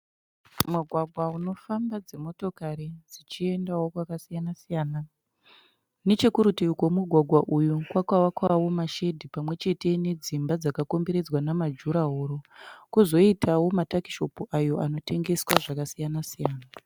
Mugwagwa unofamba dzimotokari dzichiendawo kwakasiyana siyana. Nechekurutivi kwomugwagwa uyu kwakavakwawo mashedi pamwe chete nedzimba dzakakomberedzwa namajuraworo kwozoitawo matakishopu ayo anotengeswa zvakasiyana-siyana.